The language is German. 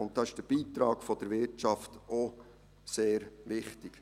Hier ist der Beitrag der Wirtschaft auch sehr wichtig.